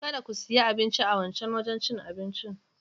Kada ku siya abinci a wancan wajen cin abincin.